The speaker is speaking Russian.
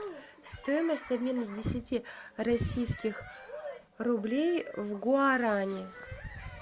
стоимость обмена десяти российских рублей в гуарани